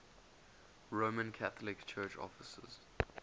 roman catholic church offices